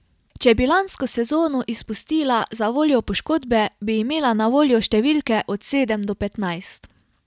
Če bi lansko sezono izpustila zavoljo poškodbe, bi imela na voljo številke od sedem do petnajst.